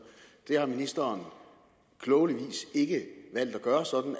det har ministeren på klogelig vis ikke valgt at gøre sådan